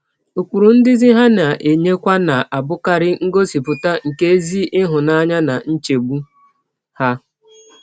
Ụkpụrụ ndụzi ha na - enyekwa na - abụkarị ngọsipụta nke ezi ịhụnanya na nchegbụ ha.